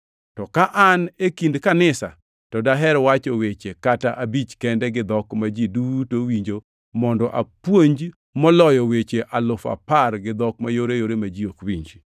to ka an e kind kanisa, to daher wacho weche kata abich kende gi dhok ma ji duto winjo mondo apuonj moloyo weche alufu apar gi dhok mayoreyore ma ji ok winji.